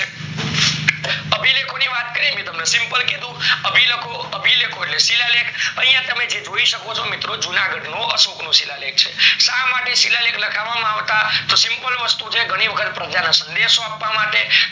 તમને સિમ્પલ કીધું, અભિલેખો એટલે શિલાલેખ. અહીયા તમેંજે જોઈ શકો છો મિત્રો, જૂનાગઢનો અશોકનો શિલાલેખ છે. શા માટે શિલાલેખ લખાવવામાં આવતા? તો સિમ્પલ વસ્તું છે, ઘણી વખત પ્રજાને સંદેશો આપવા માટે, ઘણી વખત